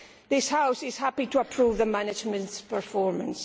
this House is happy to approve the management's performance.